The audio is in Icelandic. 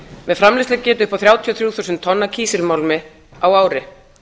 með framleiðslugetu upp á þrjátíu og þrjú þúsund tonn af kísilmálmi á ári